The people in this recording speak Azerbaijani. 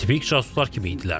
Tipik casuslar kimi idilər.